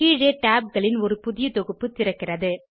கீழே tabகளின் ஒரு புதிய தொகுப்பு திறக்கிறது